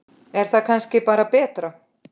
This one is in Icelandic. Er það kannski bara betra?